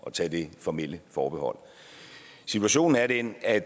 tage det formelle forbehold situationen er den at